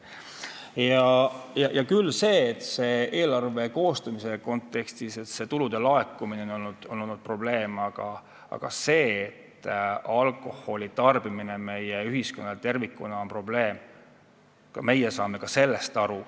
Eelarve koostamise kontekstis on probleem olnud tulude laekumine, aga meie saame aru ka sellest, et alkoholi tarbimine tervikuna on probleem meie ühiskonnas.